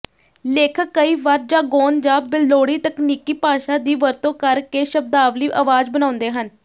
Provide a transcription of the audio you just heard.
ਲੇਖਕ ਕਈ ਵਾਰ ਜਾਗੋਨ ਜਾਂ ਬੇਲੋੜੀ ਤਕਨੀਕੀ ਭਾਸ਼ਾ ਦੀ ਵਰਤੋਂ ਕਰਕੇ ਸ਼ਬਦਾਵਲੀ ਆਵਾਜ਼ ਬਣਾਉਂਦੇ ਹਨ